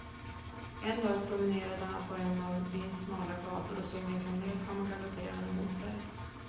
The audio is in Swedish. En dag promenerade han på en av byns smala gator och såg en kamel komma galopperande mot sig.